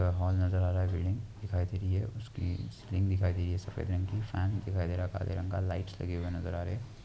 Hall नजर आ रहा है. बिल्डिंग दिखाई दे रही है उसकी सीलिंग दिखाई दे रही है सफेद रंग की फैन दिखाई दे रहा हे काले रंग का लाइट्स लगे हुऐ नजर आ रहे है।